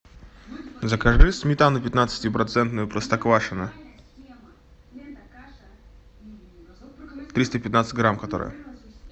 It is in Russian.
закажи сметану пятнадцатипроцентную простоквашино триста пятнадцать грамм которая